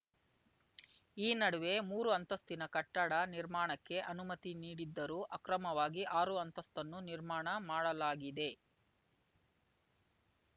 ಈ ನಡುವೆ ಮೂರು ಅಂತಸ್ತಿನ ಕಟ್ಟಡ ನಿರ್ಮಾಣಕ್ಕೆ ಅನುಮತಿ ನೀಡಿದ್ದರೂ ಅಕ್ರಮವಾಗಿ ಆರು ಅಂತಸ್ತನ್ನು ನಿರ್ಮಾಣ ಮಾಡಲಾಗಿದೆ